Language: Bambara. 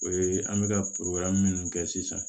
O ye an bɛ ka minnu kɛ sisan